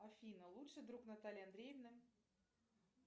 афина лучший друг натальи андреевны